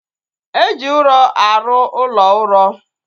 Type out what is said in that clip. Eji ụrọ arụ ụlọ uro